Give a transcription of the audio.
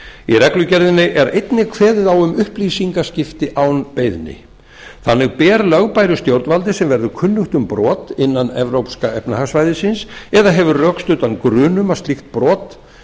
í reglugerðinni er einnig kveðið á um upplýsingaskipti án beiðni þannig ber lögbæru stjórnvaldi sem verður kunnugt um brot innan evrópska efnahagssvæðisins eða hefur rökstuddan grun um slíkt brot